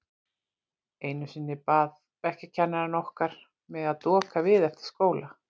Einu sinni bað bekkjarkennarinn okkar mig að doka við eftir skóla.